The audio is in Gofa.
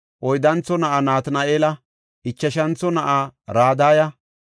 oyddantho na7aa Natina7eela, ichashantho na7aa Radaya,